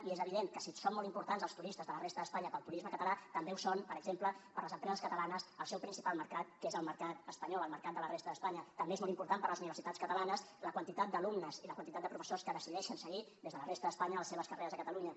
i és evident que si són molt importants els turistes de la resta d’espanya per al turisme català també ho és per exemple per a les empreses catalanes el seu principal mercat que és el mercat espanyol el mercat de la resta d’espanya també és molt important per a les universitats catalanes la quantitat d’alumnes i la quantitat de professors que decideixen seguir des de la resta d’espanya les seves carreres a catalunya